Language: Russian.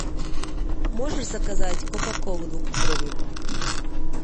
можешь заказать кока колу двухлитровую